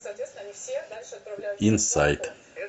инсайт